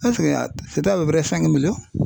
fɛn fɛn y'a